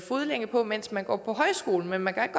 fodlænke på mens man går på højskole men man kan